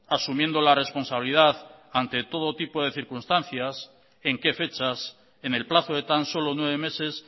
asumiendo la responsabilidad ante todo tipo de circunstancias en qué fechas en el plazo de tan solo nueve meses